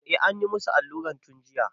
Eh, anyi musu allura tun jiya.